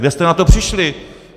Kde jste na to přišli?